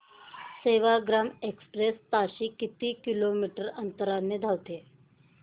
Sevagram express ताशी किती kilometre अंतराने धावते